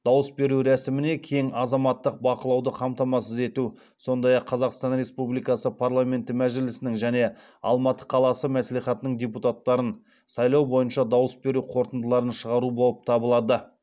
дауыс беру рәсіміне кең азаматтық бақылауды қамтамасыз ету сондай ақ қазақстан республикасы парламенті мәжілісінің және алматы қаласы мәслихатының депутаттарын сайлау бойынша дауыс беру қорытындыларын шығару болып табылады